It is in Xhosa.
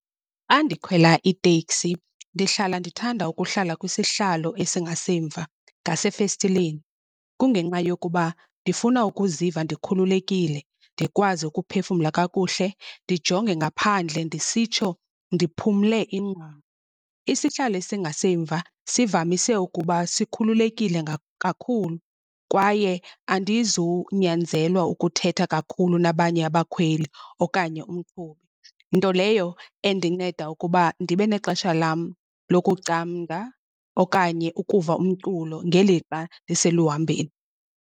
Xa ndikhwela iteksi ndihlala ndithanda ukuhlala kusihlalo esingasemva ngasefestileni. Kungenxa yokuba ndifuna ukuziva ndikhululekile, ndikwazi ukuphefumla kakuhle, ndijonge ngaphandle ndisitsho ndiphumle ingqondo. Isihlalo esingasemva sivamise ukuba sikhululekile kakhulu kwaye andizunyanzelwa ukuthetha kakhulu nabanye abakhweli okanye umqhubi. Nto leyo endinceda ukuba ndibe nexesha lam lokucamnga okanye ukuva umculo ngelixa ndiseluhambeni.